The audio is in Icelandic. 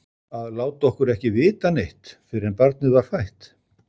Að láta okkur ekki vita neitt fyrr en barnið var fætt!